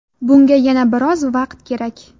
Bunga yana biroz vaqt kerak.